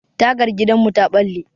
Tagar gidanmu ta ɓalle.